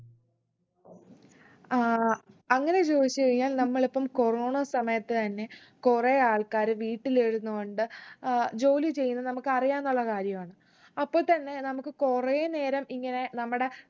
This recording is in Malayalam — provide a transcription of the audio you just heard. ആഹ് അങ്ങനെ ചോദിച്ച് കഴിഞ്ഞാൽ നമ്മളിപ്പം കൊറോണ സമയത്ത് തന്നെ കൊറേ ആൾക്കാർ വീട്ടിലിരുന്ന് കൊണ്ട് ഏർ ജോലി ചെയ്യുന്നത് നമുക്ക് അറിയാന്നുള്ള കാര്യാണ് അപ്പൊ തന്നെ നമക്ക് കൊറേ നേരം ഇങ്ങനെ നമ്മടെ